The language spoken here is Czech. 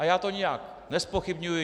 A já to nijak nezpochybňuji.